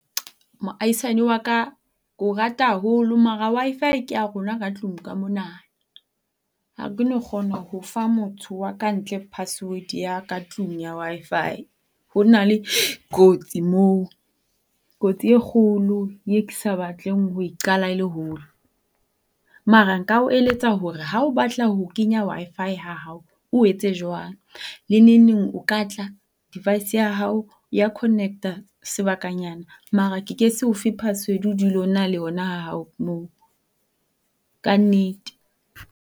Moaisane wa ka, ke o rata haholo mara Wi-Fi ke ya rona ka tlung ka mona. Ha ke no kgona ho fa motho wa ka ntle password ya ka tlung ya Wi-Fi. Ho na le kotsi moo. Kotsi e kgolo e ke sa batleng ho e qala e le hole. Mara nka o eletsa hore ha o batla ho kenya Wi-Fi ha hao o etse jwang. Le nengneng o ka tla device ya hao ya connect-a sebakanyana. Mara ke ke se ofe password o dule o na le yona ha hao mono. Ka nnete.